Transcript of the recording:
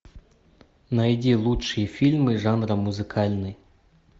найди лучшие фильмы жанра музыкальный